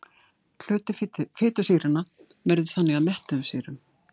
Hluti fitusýranna veður þannig að mettuðum sýrum.